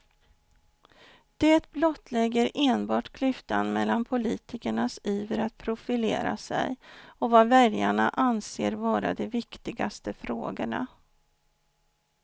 Det blottlägger enbart klyftan mellan politikernas iver att profilera sig och vad väljarna anser vara de viktigaste frågorna.